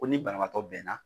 Ko ni banabagatɔ bɛnna